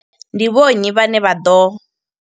Ndi vho nnyi vhane vha ḓo